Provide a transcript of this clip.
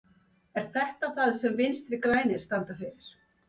Er þetta það sem Vinstri grænir standa fyrir?